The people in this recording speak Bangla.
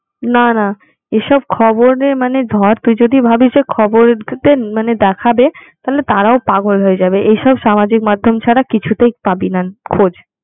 না না এসব খবরে মানে ধর তুই যদি ভাবিস যে খবর তে মানে দেখাবে তাহলে তারাও পাগল হয়ে যাবে এইসব সামাজিক মাধ্যম ছাড়া কিছুতেই পাবিনা খোঁজ